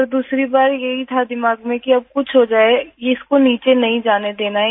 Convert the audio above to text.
पर दूसरी बार ये ही था दिमाग में कि अब कुछ हो जाए ये इसको नीचे नहीं जाने देना है